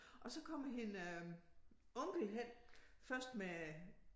Og så kommer hende onkel hen først med